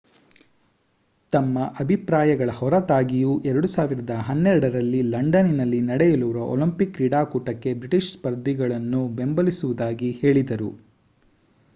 ತಮ್ಮ ಅಭಿಪ್ರಾಯಗಳ ಹೊರತಾಗಿಯೂ 2012 ರಲ್ಲಿ ಲಂಡನ್‌ನಲ್ಲಿ ನಡೆಯಲಿರುವ ಒಲಿಂಪಿಕ್ ಕ್ರೀಡಾಕೂಟಕ್ಕೆ ಬ್ರಿಟಿಷ್ ಸ್ಪರ್ಧಿಗಳನ್ನು ಬೆಂಬಲಿಸುವುದಾಗಿ ಹೇಳಿದರು